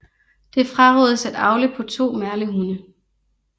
Det frarådes at avle på 2 merlehunde